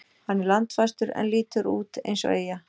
Hann er landfastur en lítur út eins og eyja.